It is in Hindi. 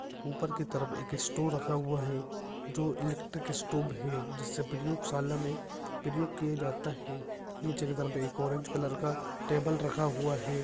ऊपर की तरफ एक स्टो रखा हुआ है जो इलेक्ट्रिक स्टोब है जिससे प्रयोगशाला में पिरयोग किए जात्ता है नीचे की तरप एक ऑरेंज कलर का टेबल रखा हुआ है।